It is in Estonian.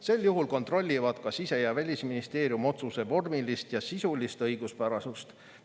Sel juhul kontrollivad ka Sise- ja Välisministeerium otsuse vormilist ja sisulist õiguspärasust.